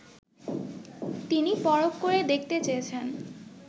তিনি পরখ করে দেখতে চেয়েছেন